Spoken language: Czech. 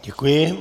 Děkuji.